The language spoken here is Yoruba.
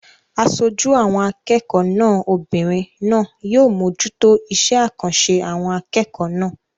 Aṣojú àwọn akẹ́kọ̀ọ́ náà obìnrin náà yóò mójútó iṣé àkànṣe àwọn akẹ́kọ̀ọ́ náà